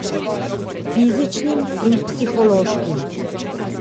Fizičnim in psihološkim.